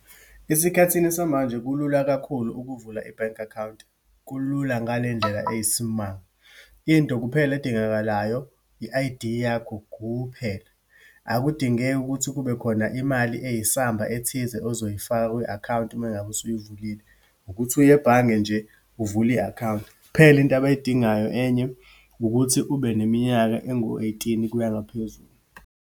Esikhathini samanje kulula kakhulu ukuvula i-bank account. Kulula ngale ndlela eyisimanga. Into kuphela edingakalayo, i-I_D yakho kuphela. Akudingeki ukuthi kube khona imali eyisamba ethize ozoyifaka kwi-akhawunti uma ngabe usuyivulile. Ukuthi uye ebhange nje, uvule i-khawunti. Kuphela into abayidingayo enye, ukuthi ube neminyaka engu-eighteen ukuya ngaphezulu.